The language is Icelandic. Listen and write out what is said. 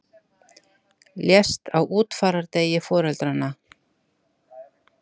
Lést á útfarardegi foreldranna